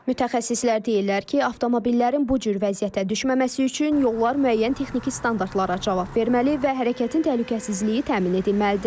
Mütəxəssislər deyirlər ki, avtomobillərin bu cür vəziyyətə düşməməsi üçün yollar müəyyən texniki standartlara cavab verməli və hərəkətin təhlükəsizliyi təmin edilməlidir.